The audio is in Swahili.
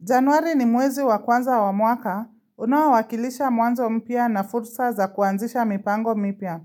Januari ni mwezi wa kwanza wa mwaka, unawakilisha mwanzo mpya na fursa za kuanzisha mipango mipya.